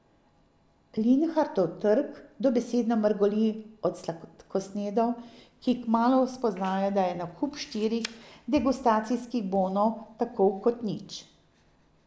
Linhartov trg dobesedno mrgoli od sladkosnedov, ki kmalu spoznajo, da je nakup štirih degustacijskih bonov tako kot nič.